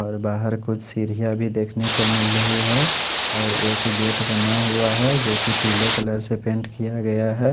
और बहर कुछ सीरिया भी देखने को मिल रही है और एक गेट बना हुआ है जो की पीले कलर से पेंट किया गया है।